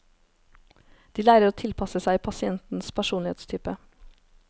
De lærer å tilpasse seg pasientens personlighetstype.